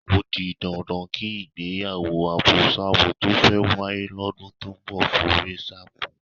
Ó di dandan kí ìgbéyàwó àbosábo tó fẹ́ wáyé lọ́dún tó ń bọ̀ forí ṣánpọ́n.